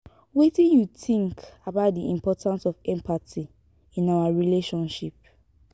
wetin you think about di importance of empathy in our relationships?